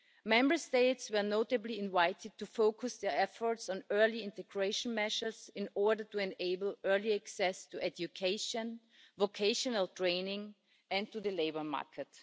Member States were notably invited to focus their efforts on early integration measures in order to enable early access to education, vocational training and to the labour market.